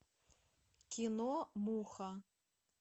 кино муха